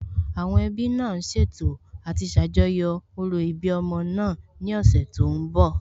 Àwọn ẹbí náà ṣètò àti ṣàjọyọ̀ òro ìbí ọmọ náà ní ọ̀sẹ̀ tó ń bọ̀